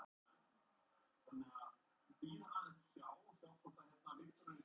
Enginn gerði þig nokkurn tímann ábyrgan fyrir neinu sem þú gerðir.